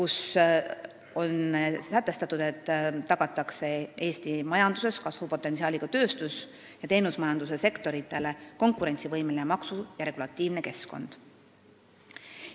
Selles on sätestatud, et tagatakse Eesti majanduses suure kasvupotentsiaaliga tööstus- ning teenusmajanduse sektoritele konkurentsivõimeline maksu- ja regulatiivne keskkond.